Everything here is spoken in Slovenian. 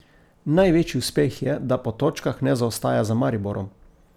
Največji uspeh je, da po točkah ne zaostaja za Mariborom.